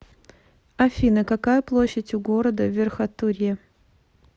афина какая площадь у города верхотурье